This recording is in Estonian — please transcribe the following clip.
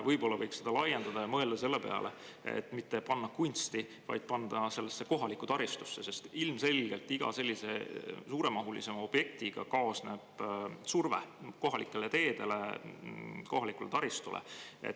Võib-olla võiks seda laiendada ja mõelda selle peale, et mitte panna kunsti, vaid panna sellesse kohalikku taristusse, sest ilmselgelt iga sellise suuremahulise objektiga kaasneb surve kohalikele teedele, kohalikele taristule.